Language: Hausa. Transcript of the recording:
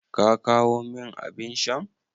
Ka kawo min abin shan?